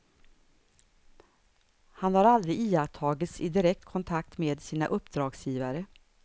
Han har aldrig iakttagits i direkt kontakt med sina uppdragsgivare.